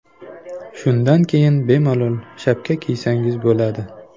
Shundan keyin bemalol shapka kiysangiz bo‘ladi.